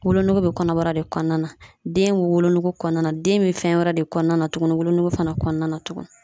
Wolonugu bɛ kɔnɔbara de kɔnɔna na , den bɛ wolonugu kɔnɔna na , den bɛ fɛn wɛrɛ de kɔnɔna na tugunni, wolonugu fana kɔnɔna na tugun.